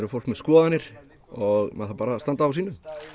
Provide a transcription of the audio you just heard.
fólk með skoðanir og maður þarf bara að standa á sínu